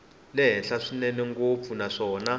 le henhla swinene ngopfu naswona